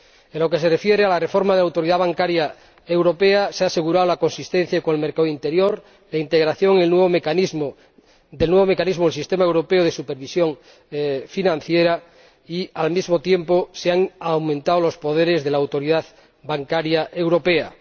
En lo que se refiere a la reforma de la Autoridad Bancaria Europea, se ha asegurado la consistencia con el mercado interior, la integración del nuevo mecanismo en el sistema europeo de supervisión financiera y, al mismo tiempo, se han aumentado los poderes de la Autoridad Bancaria Europea.